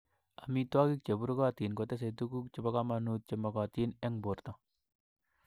Amitwogik che burukotin kotesei tuguk chebo komonut che mogotin eng borto